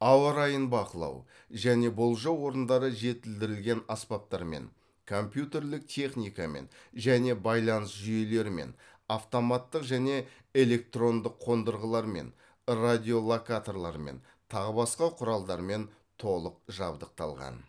ауа райын бақылау және болжау орындары жетілдірілген аспаптармен компьютерлік техникамен және байланыс жүйелерімен автоматтық және электрондық қондырғылармен радиолокаторлармен тағы басқа құралдармен толық жабдықталған